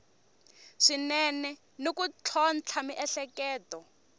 swinene ni ku tlhontlha miehleketo